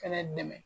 Fɛnɛ dɛmɛ